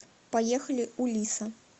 поехали у лиса